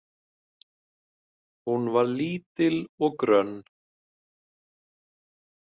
Hún var lítil og grönn.